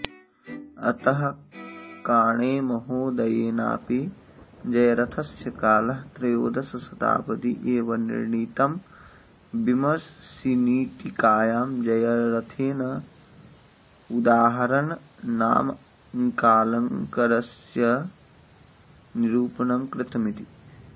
अतः काणेमहोदयेनाऽपि जयरथस्य कालः त्रयोदशशताब्दी एव निर्णीतम् विमशिनीटीकायां जयरथेन उदाहरणनामकालङ्कारस्य निरूपणं कृतमिति